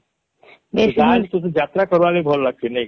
ତତେ ବାହାରକେ ଯାତ୍ରା କରିବାର ଲାଗି ତତେ ଭଲ ଲାଗସି